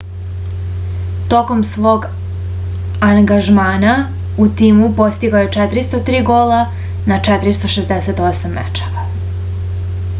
tokom svog angažmana u timu postigao je 403 gola na 468 mečeva